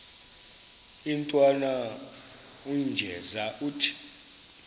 intwana unjeza ithi